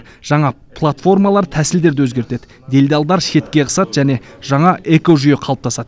жаңа платформалар тәсілдерді өзгертеді делдалдар шетке ығысады және жаңа экожүйе қалыптасады